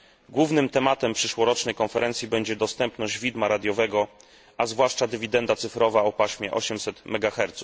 Głównym tematem przyszłorocznej konferencji będzie dostępność widma radiowego, a zwłaszcza dywidenda cyfrowa o paśmie 800 MHz.